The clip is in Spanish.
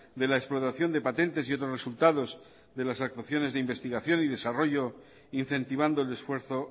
de la explotación de patentes y otros resultados de las actuaciones de investigación y desarrollo incentivando el esfuerzo